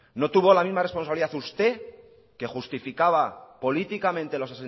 no tuvo la misma responsabilidad usted que justificaba políticamente los